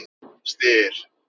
Styr